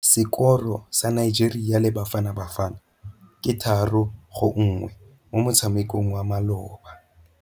Sekôrô sa Nigeria le Bafanabafana ke 3-1 mo motshamekong wa malôba.